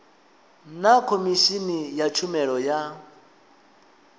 na khomishini ya tshumelo ya